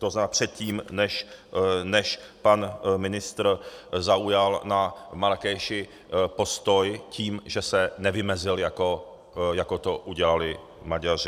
To znamená, předtím než pan ministr zaujal na Marrákeši postoj tím, že se nevymezil, jako to udělali Maďaři.